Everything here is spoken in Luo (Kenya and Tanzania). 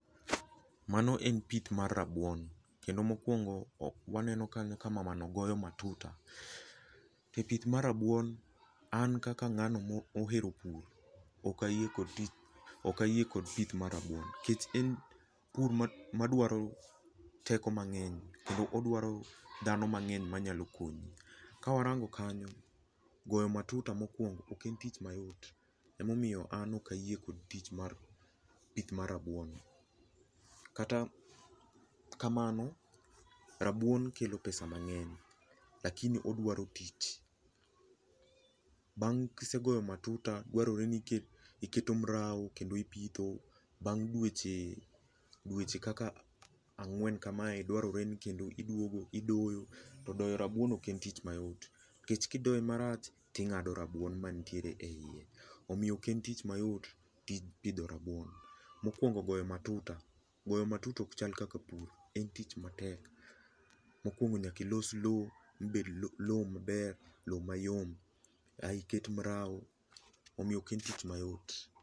Mano en pith mar rabuon kendo mokwongo waneno kanyo ka mamano goyo matuta. E pith mar rabuon, an kaka ng'ano mohero pur, ok ayie kod pith mar rabuon, nikech en pur madwaro teko mang'eny kendo odwaro dhano mang'eny manyalo konyi. Ka warango kanyo, goyo matuta mokwongo ok en tich mayot, emomiyo an ok ayie kod tich mar pith mar rabuon. Kata kamano, rabuon kelo pesa mang'eny, lakini odwaro tich. Bang' kisegoyo matuta, dwarore ni iketo mraw kendo ipitho. Bang' dweche kaka ang'wen kamae, dwarore ni kendo iduogo idoyo to doyo rabuon ok en tich mayot, nikech kidoye marach, ting'ado rabuon manitiere e iye. Omiyo ok en tich mayot pidho rabuon. Mokwongo goyo matuta. Goyo matuta ok chal kaka pur. En tich matek. Mokwongo nyaka ilos lowo mabed lowo maber, lowo mayom ae iket mraw. Omiyo ok en tich mayot.